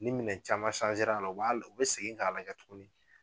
Ni minɛn caman a la u b'a u bɛ segin k'a lajɛ tuguni